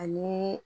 Ani